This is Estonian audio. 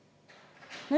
Ma usun, et paljud mäletavad.